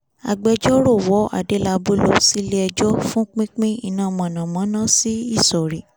agbẹjọ́rò wọ adélábù lọ sílé ẹjọ́ fún pínpín iná mọ̀nàmọ́ná sí ìsọ̀rí